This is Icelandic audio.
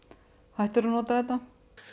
hættur að nota þetta